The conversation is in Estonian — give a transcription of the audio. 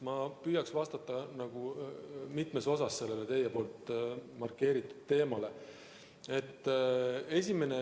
Ma püüan vastata sellele teie markeeritud teemale mitmes osas.